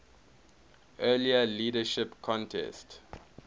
earlier leadership contest